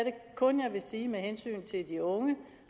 kun sige med hensyn til de unge